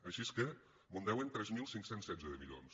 així que mos en deuen tres mil cinc cents i setze de milions